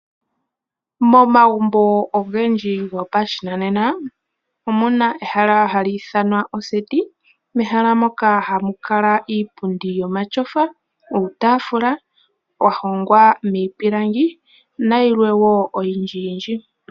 Momagumbo ogendji gopashinanena omuna ehala hali ithanwa oseti mehala moka hamu kala iipundi yomatsofa uutafula wa hongwa miipilangi nayilwe wo oyindjiyindji.